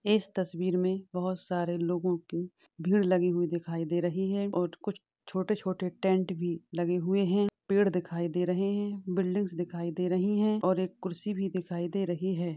इस तस्वीर में बोहोत सारे लोगो की भीड़ लगी हुई दिखाई दे रही हैं और छोटे छोटे टेंट भी लगे हुए हैं पेड़ दिखाई दे रहे हैं बिल्डिंग्स दिखाई दे रही हैं और एक कुर्सी भी दिखाई दे रही हैं।